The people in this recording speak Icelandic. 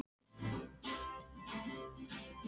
Þarna hefur áreiðanlega blætt dálítið, hugsaði hann.